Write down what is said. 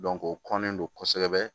o kɔnnen do kosɛbɛ